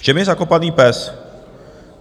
V čem je zakopaný pes?